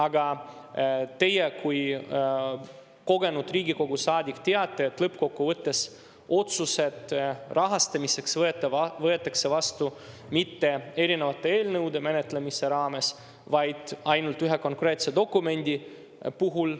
Aga teie kui kogenud Riigikogu teate, et lõppkokkuvõttes rahastamise otsused võetakse vastu mitte erinevate eelnõude menetlemise raames, vaid ainult ühe konkreetse dokumendi puhul.